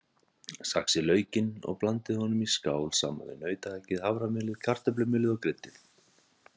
Saxið laukinn og blandið honum í skál saman við nautahakkið, haframjölið, kartöflumjölið og kryddið.